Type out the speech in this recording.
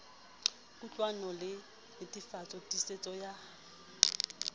kutlwahalo le netefatso tiisetso ya